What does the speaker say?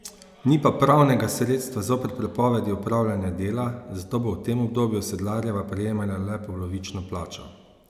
Ni pa pravnega sredstva zoper prepovedi opravljanja dela, zato bo v tem obdobju Sedlarjeva prejemala le polovično plačo.